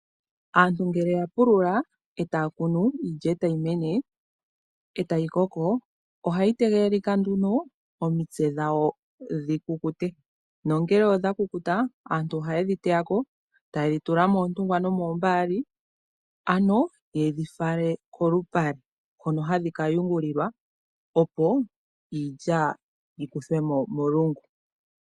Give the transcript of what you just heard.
Aantu ngele ya pulula etaa kunu, iilya e tayi mene, e tayi koko, ohayi tegelelika nduno omitse dhawo dhi kukute, nongele odha kukuta, aantu oha ye dhi teya ko, etaye dhi tula moontungwa nomoombaali, ano ye dhi fala kolupale, hono hadhi ka yungulilwa opo iilya yikuthwe mo molungu.